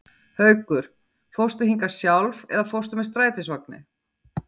Haukur: Fórstu hingað sjálf eða fórstu með strætisvagni?